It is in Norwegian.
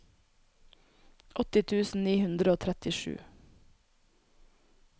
åtti tusen ni hundre og trettisju